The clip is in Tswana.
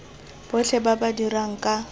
botlhe ba ba dirang ka